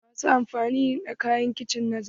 Wasu na amfani da kayan kicin na zamani.